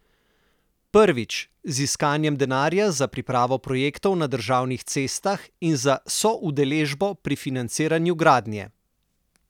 Prvič, z iskanjem denarja za pripravo projektov na državnih cestah in za soudeležbo pri financiranju gradnje.